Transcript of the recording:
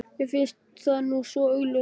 Mér finnst það nú svo augljóst.